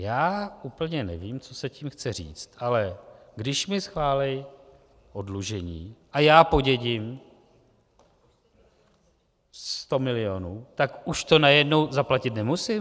Já úplně nevím, co se tím chce říct, ale když mi schválí oddlužení a já podědím sto milionů, tak už to najednou zaplatit nemusím?